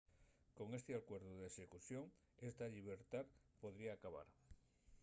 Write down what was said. con esti alcuerdu n’execución esta llibertá podría acabar